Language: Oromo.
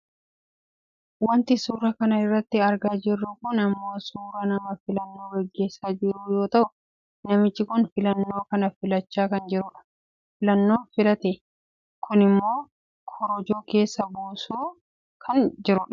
Wanti suuraa kana irratti argaa jirru kun ammoo suuraa nama filannoo gaggeessaa jiru yoo ta'u namichi kun filannoo kana filachaa kan jirudha. Filannoo filate kanammoo korojoo keessa buusaa kan jirudha.